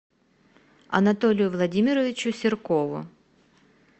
анатолию владимировичу серкову